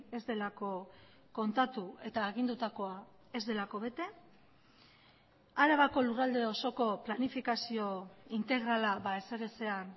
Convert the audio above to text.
ez delako kontatu eta agindutakoa ez delako bete arabako lurralde osoko planifikazio integrala ezer ezean